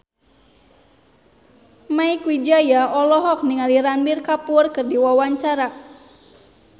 Mieke Wijaya olohok ningali Ranbir Kapoor keur diwawancara